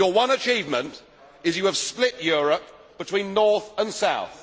Your one achievement is that you have split Europe between north and south.